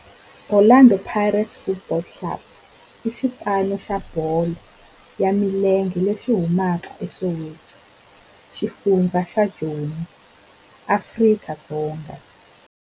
Orlando Pirates Football Club i xipano xa bolo ya milenge lexi humaka eSoweto, xifundzha xa Joni, Afrika-Dzonga.